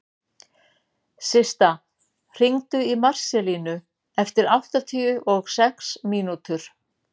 Systa, hringdu í Marselínu eftir áttatíu og sex mínútur.